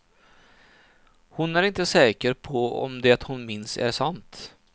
Hon är inte säker på om det hon minns är sant.